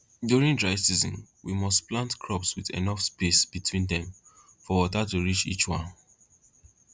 during dry season we must plant crops with enough space between them for water to reach each one